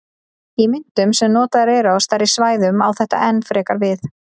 Í myntum sem notaðar eru á stærri svæðum á þetta enn frekar við.